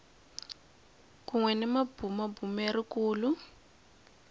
kun we ni mabumabumeri kulu